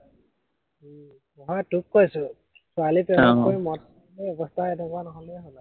নহয় তোক কৈছো, ছোৱালী আহ প্ৰেমত পৰি মদ খাই খাই অৱস্থা এনেকুৱা নহলেই হল আৰু